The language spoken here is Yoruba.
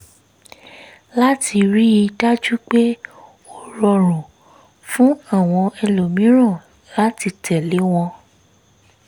láti rí i dájú pé ó rọrùn um fún àwọn ẹlòmíràn láti tẹ̀lé wọn